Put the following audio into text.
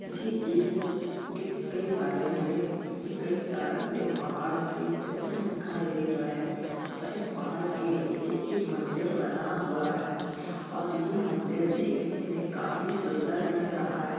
यह एक कित कई सारे हरे ये कई सारे पहाड़ के चित्र दिखाई दे रहे हैं और इस पहाड़ के नीचे एक मंदिर बना हुआ है और ये मंदिर देखने में काफी सुंदर लग रहा है।